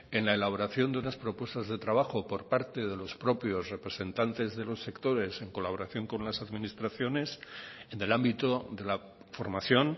en la elaboración de una propuestas de trabajo por parte de los propios representantes de los sectores en colaboración con las administraciones en el ámbito de la formación